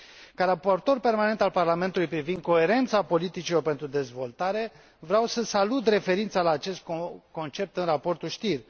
Ca raportor permanent al Parlamentului privind coerența politicilor pentru dezvoltare, vreau să salut referința la acest concept în raportul Stier.